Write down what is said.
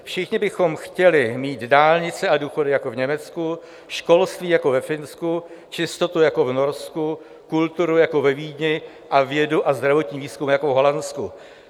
Všichni bychom chtěli mít dálnice a důchody jako v Německu, školství jako ve Finsku, čistotu jako v Norsku, kulturu jako ve Vídni a vědu a zdravotní výzkum jako v Holandsku.